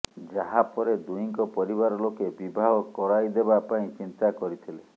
ଯାହା ପରେ ଦୁହିଁଙ୍କ ପରିବାର ଲୋକେ ବିବାହ କରାଇଦେବା ପାଇଁ ଚିନ୍ତା କରିଥିଲେ